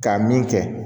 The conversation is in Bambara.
K'a min kɛ